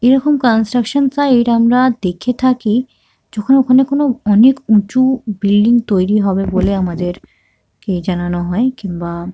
এরকম construction side আমরা দেখে থাকি যখন ওখানে কোনো অনেক উঁচু বিল্ডিং তৈরী হবে বলে আমাদের কে জানানো হয়। কিমবা--